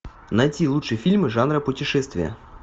найти лучшие фильмы жанра путешествие